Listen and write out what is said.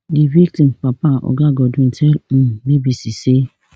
di victim papa oga godwin tell um bbc say